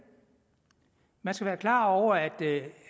man skal være klar over at